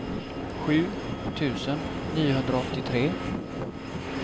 sju tusen niohundraåttiotre